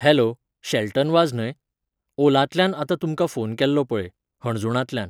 Hello, Shelton Vaz न्हय? ओलांतल्यान आत्तां तुमकां फोन केल्लो पळय, हणजूणांतल्यान.